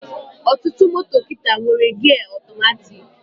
Ọtụtụ moto kịta nwere gia ọtọmatiki